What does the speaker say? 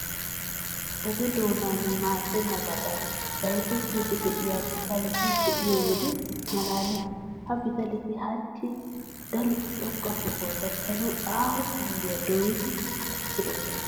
Oge doonan maaddennabadan bayzettiiddi de'iya pitaleta be'iyo wode maalaalees. Ha pitaleti hachchi daroti xoqqa sohuwa gakkanawu aaho penggiya dooyiiddi takkidosona.